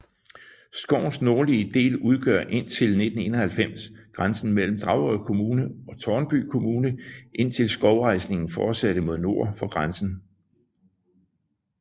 Skovens nordlige del udgjorde indtil 1991 grænsen mellem Dragør Kommune og Tårnby Kommune indtil skovrejsningen fortsattes nord for grænsen